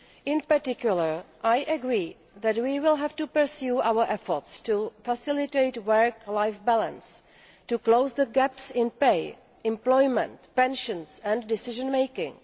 In particular, I agree that we will have to pursue our efforts to facilitate work life balance and to close the gaps in pay, employment, pensions and decision making.